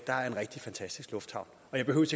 er en rigtig fantastisk lufthavn og jeg behøver